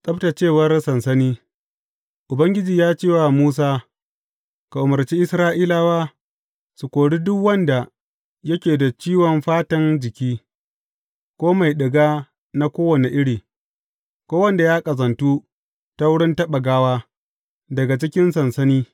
Tsabtaccewar sansani Ubangiji ya ce wa Musa, Ka umarci Isra’ilawa su kori duk wanda yake da ciwon fatan jiki, ko mai ɗiga na kowane iri, ko wanda ya ƙazantu ta wurin taɓa gawa, daga cikin sansani.